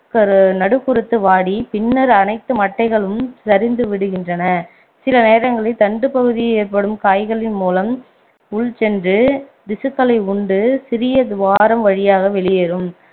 கரு~ நடு குருத்து வாடி பின்னர் அனைத்து மட்டைகளும் சரிந்து விடுகின்றன சில நேரங்களில் தண்டுப்பகுதியில் ஏற்படும் காய்களின் மூலம் உள்சென்று திசுக்களை உண்டு சிறிய துவாரம் வழியாக வெளியேரும்